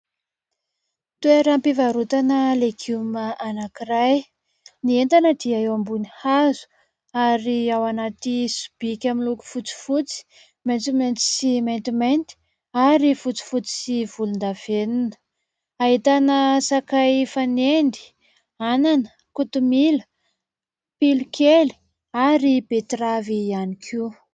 Toeram-pivarotana legioma anankiray, ny entana dia eo ambony hazo. Ary ao anaty sobika miloko fotsifotsy, maitsomaitso sy maintimainty, ary fotsifotsy sy volondavenona, ahitana sakay fanendy, anana, kotomila, pilokely ary betravy ihany koa.